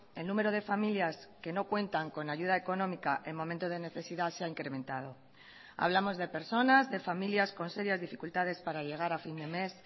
el número de familias que no cuentan con ayuda económica en momento de necesidad se ha incrementado hablamos de personas de familias con serias dificultades para llegar a fin de mes